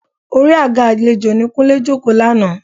Orí àga àlejò ni Kúnlé jókòó lánàá